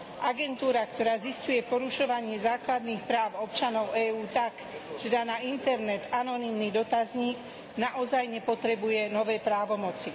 Agentúra, ktorá zisťuje porušovanie základných práv občanov EÚ tak, že dá na internet anonymný dotazník, naozaj nepotrebuje nové právomoci.